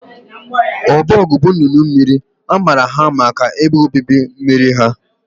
Ducks are waterfowl, They are known for their aquatic habitats